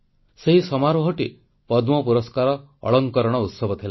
ସେହି ସମାରୋହଟି ପଦ୍ମ ପୁରସ୍କାର ଅଳଙ୍କରଣ ଉତ୍ସବ ଥିଲା